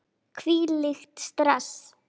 Hvílíkt stress!